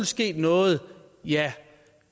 sket noget ja